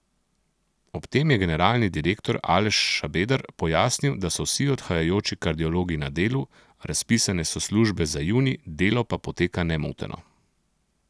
Ob tem je generalni direktor Aleš Šabeder pojasnil, da so vsi odhajajoči kardiologi na delu, razpisane so službe za junij, delo pa poteka nemoteno.